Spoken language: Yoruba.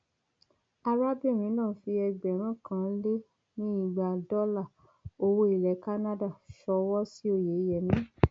arábìnrin náà fi ẹgbẹrún kan lé ní lé ní igba dọlà owó ilẹ canada ṣọwọ sí oyeyèmí